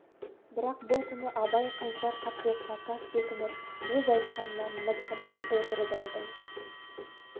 бірақ бұл күні абай қайсар қаттылыққа тас бекініп өз айтқанынан мызғымай отырып алды